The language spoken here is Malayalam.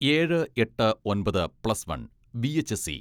ഏഴ്, എട്ട്, ഒൻപത്, പ്ലസ് വൺ വി.എച്ച്.എസ്.ഇ.